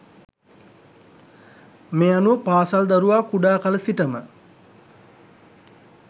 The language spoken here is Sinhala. මේ අනුව පාසල් දරුවා කුඩාකල සිටම